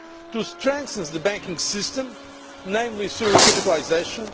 to strengthen the banking system, namely through recapitalisation